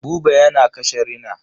Buba yana kashe rina.